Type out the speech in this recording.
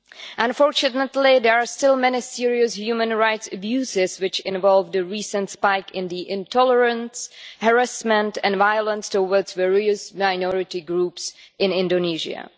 Unfortunately, there are still many serious human rights abuses which involved the recent spike in the intolerance, harassment and violence towards various minority groups in Indonesia.